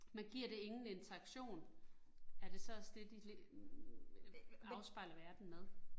Man giver det ingen interaktion, er det så også det, de øh afspejler verden med